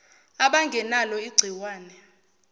aban genalo ingciwane